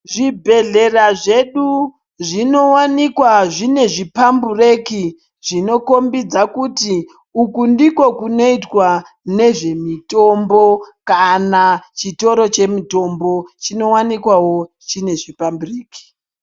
Zvibhedhlera zvedu zvinowanikwa zvipambureki zvinokombidza kuti uku nezvinoirwa nezve mitombo kana mitombo inenge ine chipambureki.